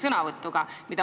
On see normaalne?